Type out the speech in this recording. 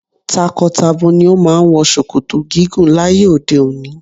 Tako-tabo ni o máa ń wọ ṣòkòtò gígùn láyé òde òni.